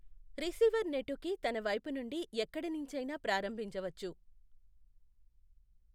Receiver నెటుకి తన వైపు నుండి ఎక్కడనించైనా ప్రారంభించవచ్చు.